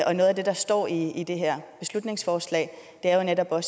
og noget af det der står i i det her beslutningsforslag er jo netop at